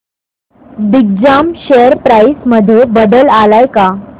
Digjam share price मध्ये बदल आलाय का